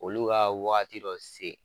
Olu ka waati dɔ se